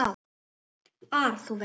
ar, þú veist.